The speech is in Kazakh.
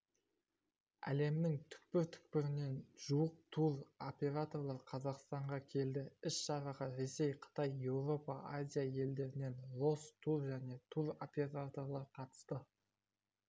әлемнің түкпір-түкпірінен жуық тур операторлар қазақстанға келді іс-шараға ресей қытай еуропа азия елдерінен росс тур және тур операторлар қатысты